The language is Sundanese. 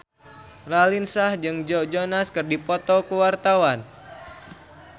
Raline Shah jeung Joe Jonas keur dipoto ku wartawan